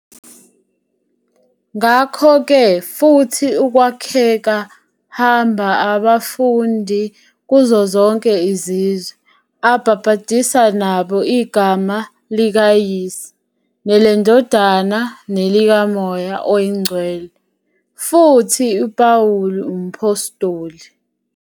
"Ngakho-ke futhi ukwakheka Hamba abafundi kuzo zonke izizwe, abhabhadisa nabo igama likaYise, neleNdodana nelikaMoya Oyingcwele" futhi uPawulu umPhostoli